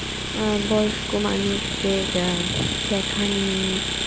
আহ বয়স্ক মানুষদের আহ দেখা নিয়ে